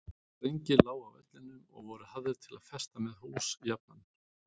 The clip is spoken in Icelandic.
Strengir lágu á vellinum og voru hafðir til að festa með hús jafnan.